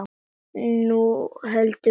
Nú höldum við partí!